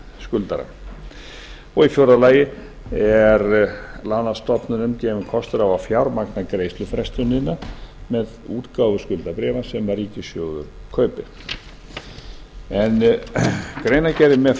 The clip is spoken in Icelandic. skuldara í fjórða lagi er lánastofnunum gefinn kostur á að fjármagna greiðslufrestunina með útgáfu skuldabréfa sem ríkissjóður kaupir en greinargerðin með